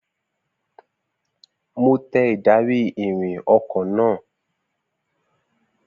Mo tẹ ìdarí-ìrìn ọkọ náà